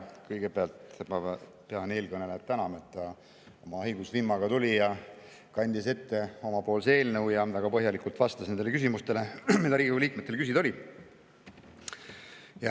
Kõigepealt pean ma eelkõnelejat tänama selle eest, et ta oma haigusvimmaga tuli siia, kandis ette oma eelnõu ja väga põhjalikult vastas nendele küsimustele, mis Riigikogu liikmetel olid.